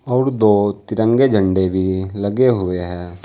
और दो तिरंगे झंडे भी लगे हुए हैं।